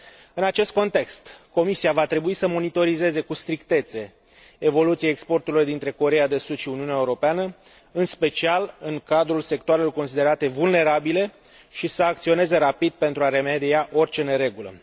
În acest context, Comisia va trebui să monitorizeze cu strictețe evoluția exporturilor dintre Coreea de Sud și Uniunea Europeană, în special în cadrul sectoarelor considerate vulnerabile, și să acționeze rapid pentru a remedia orice neregulă.